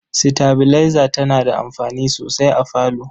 Sitabilaiza tana da amfani sosai a falo.